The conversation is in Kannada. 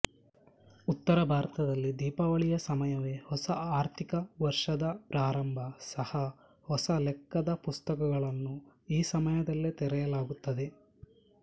ಉತ್ತರ ಭಾರತದಲ್ಲಿ ದೀಪಾವಳಿಯ ಸಮಯವೇ ಹೊಸ ಆರ್ಥಿಕ ವರ್ಷದ ಪ್ರಾರಂಭ ಸಹ ಹೊಸ ಲೆಕ್ಕದ ಪುಸ್ತಕಗಳನ್ನು ಈ ಸಮಯದಲ್ಲೇ ತೆರೆಯಲಾಗುತ್ತದೆ